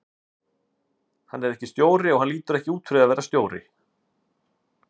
Hann er ekki stjóri og hann lítur ekki út fyrir að vera stjóri,